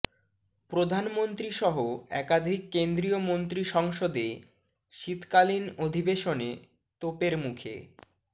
প্রধানমন্ত্রী সহ একাধিক কেন্দ্রীয় মন্ত্রী সংসদে শীতকালিন অধিবেশনে তোপের মুখে